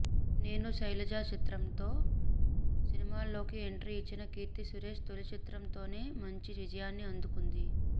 నేను శైలజ చిత్రంతో సినిమాల్లోకి ఎంట్రీ ఇచ్చిన కీర్తి సురేష్ తొలి చిత్రంతోనే మంచి విజయాన్ని అందుకుంది